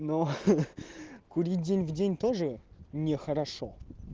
но ха-ха курить день в день тоже нехорошо